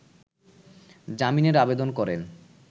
জামিনের আবেদন করেন